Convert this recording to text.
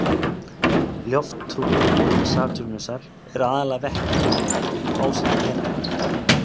Lofthjúpur Satúrnusar er aðallega vetni og helíum ásamt metani.